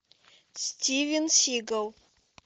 стивен сигал